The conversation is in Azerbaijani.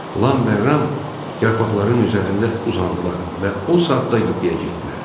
Lam və Ram yarpaqların üzərində uzandılar və o saatda yuxuya getdilər.